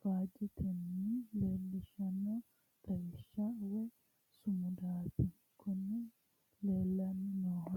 faajeteni leelishshano xawishsha woyi sumudaseti kuni leellani noohu.